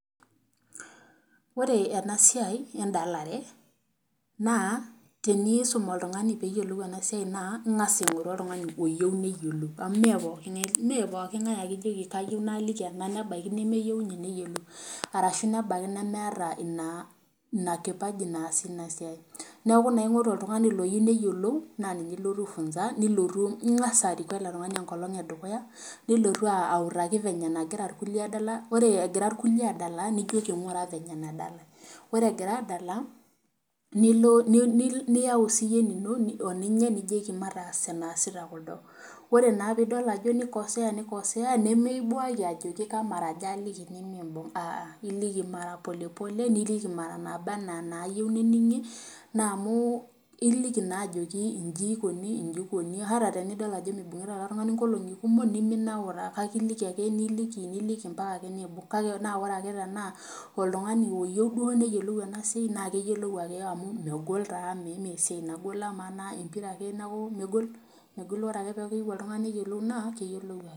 Ore enasiai edalare, naa tenisum oltung'ani peyiolou enasiai naa ing'asa aing'oru oltung'ani oyieu neyiolou. Amu me pooking'ae ake ijoki kayieu naaliki nebaiki nemeyieu inye neyiolou, arashu nabaiki nemeeta ina kipaji naasie inasiai. Neeku naa ing'oru oltung'ani loyieu neyiolou, na ninye ilotu ai funza, nilotu ning'asa ariku ele tung'ani enkolong edukuya, nilotu autaki venye nagira irkulie adala, ore egira irkulie adala, nijoki ng'ura venye nadalai. Ore egira adala, nilo niyau siyie enino oninye nijoki mataas enaasita kuldo. Ore naa pidol ajo nikosea nikosea, nemeibuaki ajoki kamaraja aliki nimibung, aa. Iliki mara polepole, niliki mara naaba enaa nayieu nening'ie, na amu iliki naa ajoki iji ikoni iji ikoni ata tenidol ajo mibung'ita ele tung'ani nkolong'i kumok, niminaura. Kake iliki ake niliki niliki mpaka ake niibung'. Kake na ore ake tenaa oltung'ani oyieu duo neyiolou enasiai na keyiolou ake amu megol taa mesiai nagol amaa naa empira ake neeku, megol ore ake peku keyieu oltung'ani neyiolou naa, keyiolou ake.